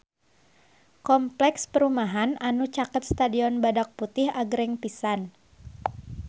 Kompleks perumahan anu caket Stadion Badak Putih agreng pisan